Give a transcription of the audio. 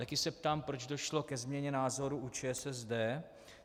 Taky se ptám, proč došlo ke změně názoru u ČSSD.